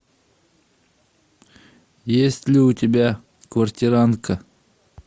есть ли у тебя квартирантка